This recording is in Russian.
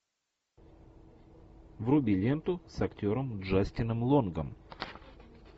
вруби ленту с актером джастином лонгом